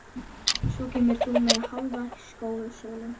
Svo kemur þú með Hálfa skósóla.